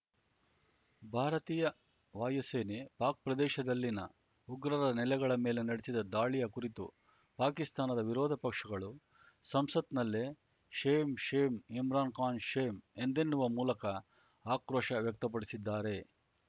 ಭಾರತೀಯ ವಾಯುಸೇನೆ ಪಾಕ್‌ ಪ್ರದೇಶದಲ್ಲಿನ ಉಗ್ರರ ನೆಲಗಳ ಮೇಲೆ ನಡೆಸಿದ ದಾಳಿಯ ಕುರಿತು ಪಾಕಿಸ್ತಾನದ ವಿರೋಧ ಪಕ್ಷಗಳು ಸಂಸತ್‌ನಲ್ಲೇ ಶೇಮ್‌ ಶೇಮ್‌ ಇಮ್ರಾನ್‌ಖಾನ್‌ ಶೇಮ್‌ ಎಂದೆನ್ನುವ ಮೂಲಕ ಆಕ್ರೋಶ ವ್ಯಕ್ತಪಡಿಸಿದ್ದಾರೆ